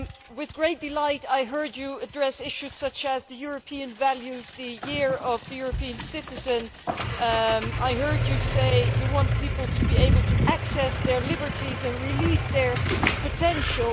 With great delight, I heard her address issues such as European values, the Year of the European Citizen, and say that she wanted people to be able to access their liberties and release their potential.